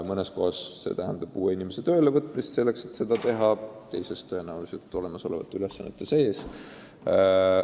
Mõnes kohas see tähendab uue inimese töölevõtmist, teises kohas saadakse hakkama olemasoleva personaliga.